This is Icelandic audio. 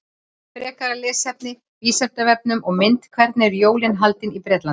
Frekara lesefni á Vísindavefnum og mynd Hvernig eru jólin haldin í Bretlandi?